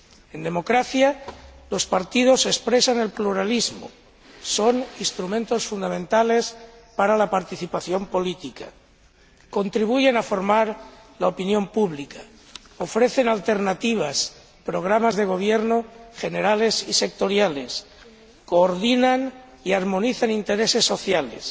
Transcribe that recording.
En democracia, los partidos expresan el pluralismo, son instrumentos fundamentales para la participación política contribuyen a formar la opinión pública, ofrecen alternativas, programas de gobierno generales y sectoriales, coordinan y armonizan intereses sociales y